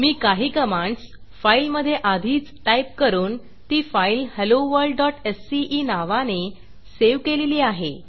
मी काही कमांडस फाईलमधे आधीच टाईप करून ती फाईल helloworldsceनावाने सेव्ह केलेली आहे